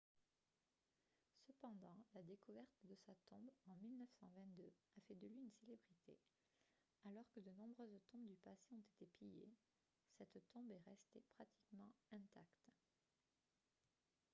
cependant la découverte de sa tombe en 1922 a fait de lui une célébrité alors que de nombreuses tombes du passé ont été pillées cette tombe est restée pratiquement intacte